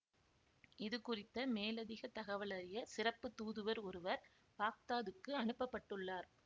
இது குறித்த மேலதிக தகவலறிய சிறப்பு தூதுவர் ஒருவர் பாக்தாதுக்கு அனுப்பப்பட்டுள்ளார்